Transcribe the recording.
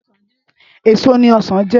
Ésó ni òsán jè